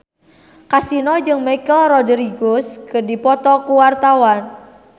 Kasino jeung Michelle Rodriguez keur dipoto ku wartawan